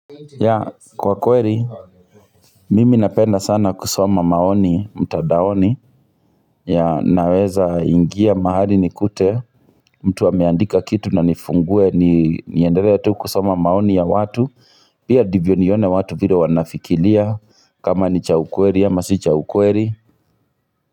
Ya kwa kweri mimi napenda sana kusoma maoni mtadaoni ya naweza ingia mahali nikute mtu ameandika kitu na nifungue ni niendelea tu kusoma maoni ya watu pia ndivyo nione watu vile wanafikilia kama ni cha ukweri ama si cha ukweri.